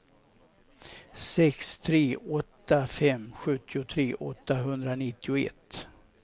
sex tre åtta fem sjuttiotre åttahundranittioett